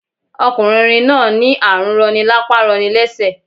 Ọkùnrin rin náà ní àrùn roni lápá roni lésè